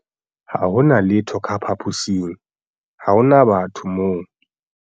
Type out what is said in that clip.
ha ho na letho ka phaposing - ha ho na batho moo